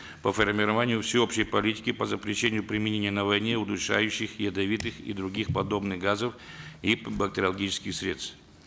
по формированию всеобщей политики по запрещению применения на войне удушающих ядовитых и других подобных газов и бактериологических средств